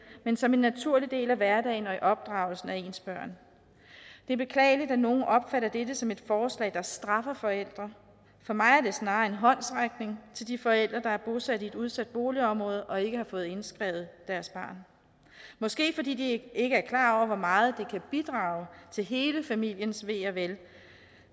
men som en naturlig del af hverdagen og opdragelsen af ens børn det er beklageligt at nogle opfatter dette som et forslag der straffer forældre for mig er det snarere en håndsrækning til de forældre der er bosat i et udsat boligområde og ikke har fået indskrevet deres barn måske fordi de ikke er klar over hvor meget det kan bidrage til hele familiens ve og vel